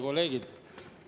Kolleegid!